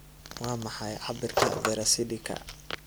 waa maxay cabbirka vera sidika